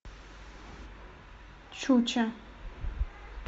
чуча